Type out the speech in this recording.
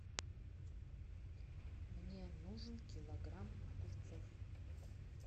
мне нужен килограмм огурцов